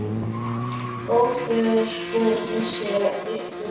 Góður guð blessi ykkur öll.